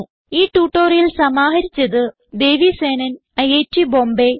ഈ ട്യൂട്ടോറിയൽ സമാഹരിച്ചത് ദേവി സേനൻ ഐറ്റ് ബോംബേ